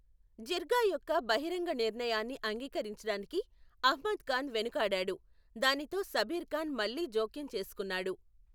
జిర్గా యొక్క బహిరంగ నిర్ణయాన్ని అంగీకరించడానికి అహ్మద్ ఖాన్ వెనుకాడాడు, దానితో సబీర్ ఖాన్ మళ్లీ జోక్యం చేసుకున్నాడు.